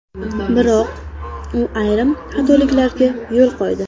Biroq u ayrim xatoliklarga yo‘l qo‘ydi.